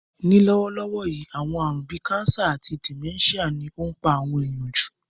Ní lówólówó yi, àwon àrún bi cancer àti dementia ni o n pa àwon èyàn jù